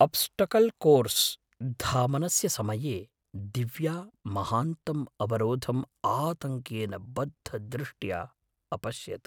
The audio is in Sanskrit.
अब्स्टकल् कोर्स् धावनस्य समये दिव्या महान्तं अवरोधम् आतङ्केन बद्धदृष्ट्या अपश्यत्।